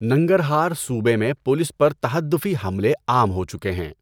ننگرہار صوبے میں پولیس پر تہدّفی حملے عام ہو چکے ہیں۔